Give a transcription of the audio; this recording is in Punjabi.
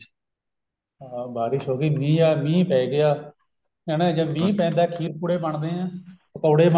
ਹਾਂ ਬਾਰਿਸ਼ ਹੋ ਗਈ ਮੀਹ ਆ ਮੀਹ ਪੈ ਗਿਆ ਹਨਾ ਜਦ ਮੀਹ ਪੈਂਦਾ ਖੀਰ ਪੁੜੇ ਬਣਦੇ ਨੇ ਪਕੋੜੇ